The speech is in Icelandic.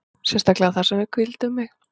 Sérstaklega þar sem að við hvíldum mig.